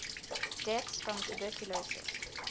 deaths from tuberculosis